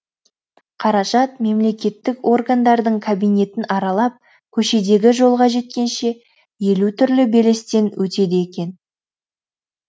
қаражат мемлекеттік органдардың кабинетін аралап көшедегі жолға жеткенше елу түрлі белестен өтеді екен